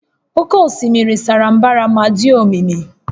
Oké osimiri sara mbara ma dị omimi